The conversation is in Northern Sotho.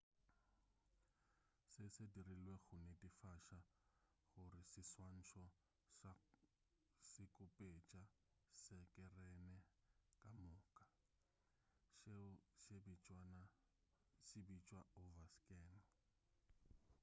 se se dirilwe go netefatša gore seswantšho se khupetša sekerene ka moka seo se bitšwa overscan